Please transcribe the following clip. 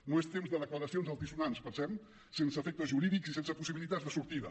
no és temps de declaracions altisonants pensem sense efectes jurídics i sense possibilitats de sortida